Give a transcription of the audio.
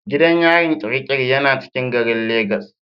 Gidan yarin Kirikiri yana cikin garin lagos.